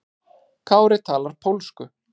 Kári talar pólsku.